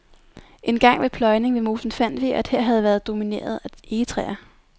Engang ved pløjning ved mosen fandt vi, at her havde været domineret af egetræer.